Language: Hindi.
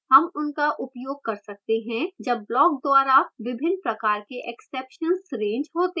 हम उनका उपयोग कर सकते हैं जब block द्वारा विभिन्न प्रकार के exceptions रेज़ होते हैं